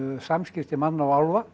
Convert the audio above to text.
samskipti manna og álfa